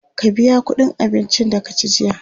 ka biya ƙuɗin abincin da ka ci jiya?